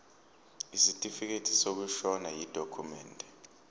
isitifikedi sokushona yidokhumende